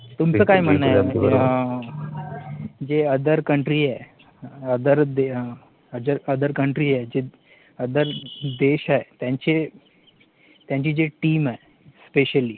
तुमचं काय म्हणणं आहे, जे जे other country आहेत, OTHER OTHER COUNTRY जे other देश आहेत, त्यांचे, त्यांची जे team आहे, specially